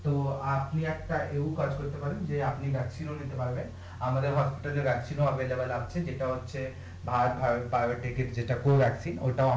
তো আপনি একটা এও কাজ করতে পারবেন যে আপনি একটা নিতে পারবেন আমাদের আছে যেটা হচ্ছে